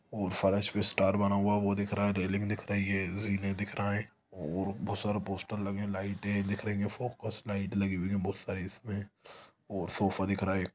वो फर्श पर स्टार बना हुआ है वो दिख रहा है रेलिंग दिख रही है जीने दिख रहा हैं वो बहुत सारे पोस्टर लगे है लाइटे दिख रही है फोकस लाइट लगी हुई है बहुत सारे इसमे सोफ़ा दिख रहा हैं ।